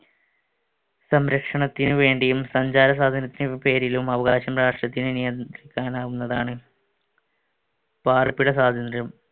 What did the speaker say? സംരക്ഷണത്തിന് വേണ്ടിയും സഞ്ചാര സ്വാതന്ത്ര്യത്തിന് പേരിലും അവകാശം രാഷ്ട്രത്തിന് നിയന്ത്രിക്കാനാവുന്നതാണ്. പാർപ്പിട സ്വാതന്ത്ര്യം.